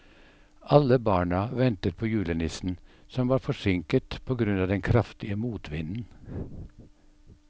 Alle barna ventet på julenissen, som var forsinket på grunn av den kraftige motvinden.